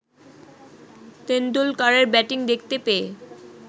তেন্ডুলকারের batting দেখতে পেয়ে